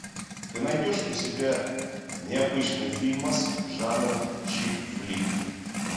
ты найдешь у себя необычный фильмас жанра чик флик